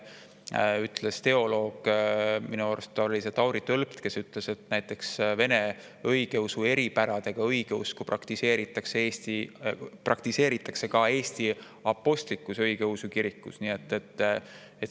Eile ütles üks teoloog – minu arust oli see Tauri Tölpt, kes seda ütles –, et näiteks Vene õigeusu eripäradega õigeusku praktiseeritakse ka Eesti Apostlik-Õigeusu Kirikus.